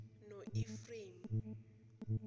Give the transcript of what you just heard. noefrayemi